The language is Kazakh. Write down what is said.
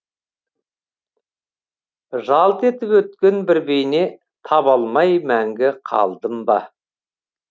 жалт етіп өткен бір бейне таба алмай мәңгі қалдым ба